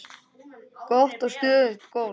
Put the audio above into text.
Gott og stöðugt golf!